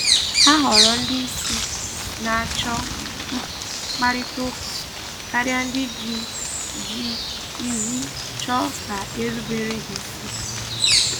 Ha họrọ ndị isi na-achọ mkparịtaụka karịa ndị ji ji iwu chọọ ka erubere ha isi